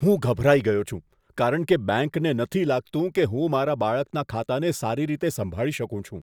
હું ગભરાઈ ગયો છું, કારણ કે બેંકને નથી લાગતું કે હું મારા બાળકના ખાતાને સારી રીતે સંભાળી શકું છું.